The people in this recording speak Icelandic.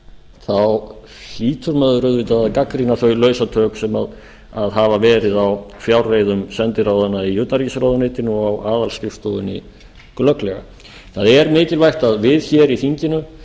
þá hlýtur maður auðvitað að gagnrýna þau lausatök sem hafa verið á fjárreiðum sendiráðanna í utanríkisráðuneytinu og á aðalskrifstofunni glögglega það er mikilvægt að við hér í þinginu